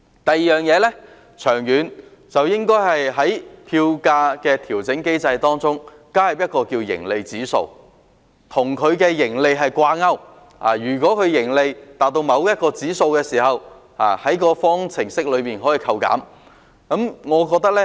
第二，長遠來說，應該在票價調整機制中加入盈利指數，與盈利掛鈎，如果盈利達到某個指數，便會在方程式中扣減。